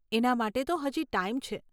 એના માટે તો હજી ટાઈમ છે.